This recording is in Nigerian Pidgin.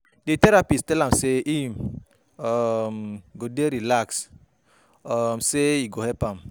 Di therapist tell am um sey um im go dey relax, sey e go help am.